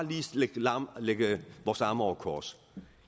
lægge vores arme over kors